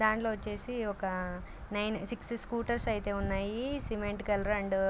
దాంట్లో వచ్చేసి ఒక నైన్ సిక్స్ స్కూటర్స్ ఉన్నాయి సిమెంట్ కలరు అండ్ .